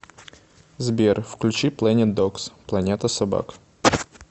сбер включи плэнит догс планета собак